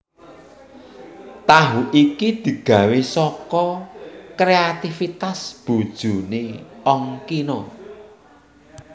Tahu iki digawé saka kréativitas bojoné Ongkino